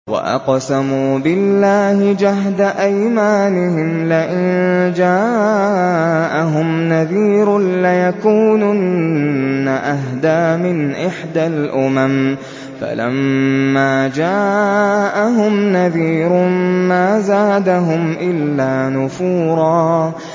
وَأَقْسَمُوا بِاللَّهِ جَهْدَ أَيْمَانِهِمْ لَئِن جَاءَهُمْ نَذِيرٌ لَّيَكُونُنَّ أَهْدَىٰ مِنْ إِحْدَى الْأُمَمِ ۖ فَلَمَّا جَاءَهُمْ نَذِيرٌ مَّا زَادَهُمْ إِلَّا نُفُورًا